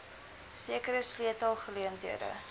sekere sleutel geleenthede